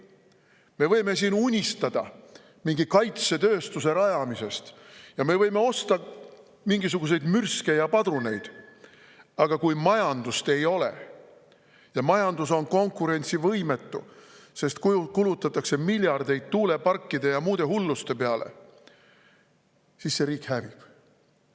Me võime siin unistada mingi kaitsetööstuse rajamisest ja me võime osta mingisuguseid mürske ja padruneid, aga kui majandust ei ole, majandus on konkurentsivõimetu, sest kulutatakse miljardeid tuuleparkide ja muude hulluste peale, siis see riik hävib.